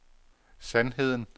sandheden